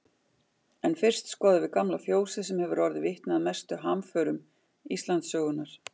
En fyrst skoðum við gamla fjósið sem hefur orðið vitni að mestu hamförum Íslandssögunnar.